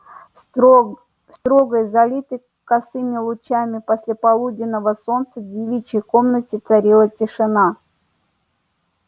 в строгой залитой косыми лучами послеполуденного солнца девичьей комнате царила тишина